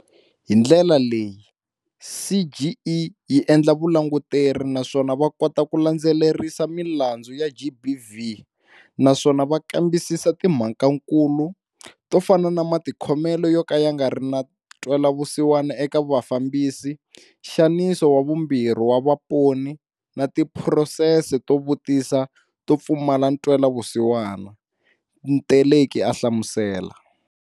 Hi ndlela leyi, CGE yi endla Vulanguteri naswona va kota ku landzelerisa milandzu ya GBV naswona va kambisisa timhakankulu, to fana na matikhomelo yoka ya ngari na ntwelavusiwana eka vafambisi, nxaniso wa vumbirhi wa vaponi na tiphurosese to vutisisa to pfumala ntwela vusiwana, Teleki a hlamusela.